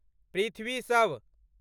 पृथ्वी शव